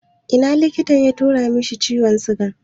Ina likitan ya tura mai ciwon sigan?